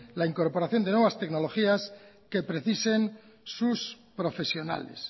la incorporación de nuevas tecnologías que precisen sus profesionales